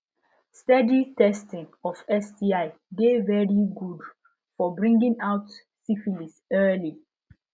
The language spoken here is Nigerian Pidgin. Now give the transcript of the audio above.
steady testing of sti de very good for bringing out syphilis early